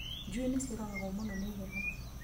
Njui nĩ ciũragagwo mũno nĩ heho